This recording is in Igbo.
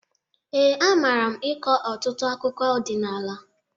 Ee, amara m ịkọ ọtụtụ akụkụ ọdịnala.